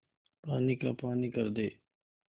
पानी का पानी कर दे